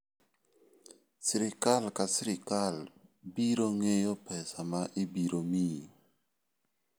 Sirkal ka sirkal biro ng'eyo pesa ma ibiro miyi.